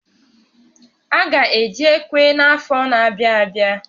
A ga eji ekwe n'afọ n'abịa abịa